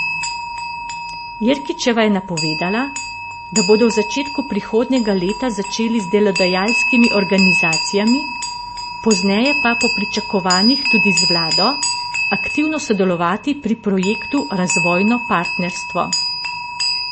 Jerkičeva je napovedala, da bodo v začetku prihodnjega leta začeli z delodajalskimi organizacijami, pozneje pa po pričakovanjih tudi z vlado, aktivno sodelovati pri projektu Razvojno partnerstvo.